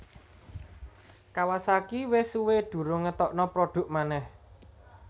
Kawasaki wes suwe durung ngetokno produk maneh